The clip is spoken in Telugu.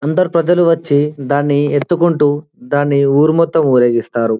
అందరూ ప్రజలు వచ్చి దాని ఎత్తుకుంటూ దాని ఊరు మొత్తం ఊరేగిస్తారు.